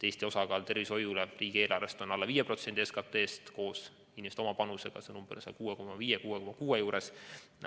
Eestis on tervishoiule riigieelarves ette nähtud alla 5% SKT-st, koos inimeste oma panusega on see umbes 6,5–6,6%.